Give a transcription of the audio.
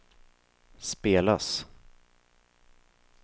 spelas